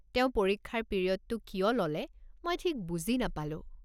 তেওঁ পৰীক্ষাৰ পিৰিয়ডটো কিয় ল'লে মই ঠিক বুজি নাপালো।